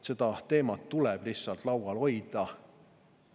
Seda teemat tuleb lihtsalt laual hoida.